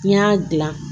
N'i y'a dilan